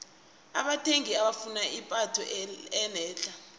abathengi bafuna ipatho enetlha